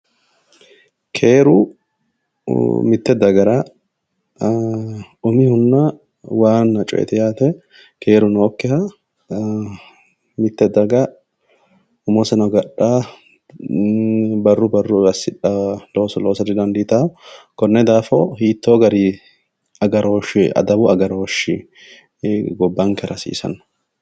Keeru mite dagara umihonna waana coyeti yaate, keeru nookkiha mite daga umoseno diafano, barru barruni assidhanoha loosira didandiittano konni daafira hiitto garinni agarooshe adawu agarooshe assa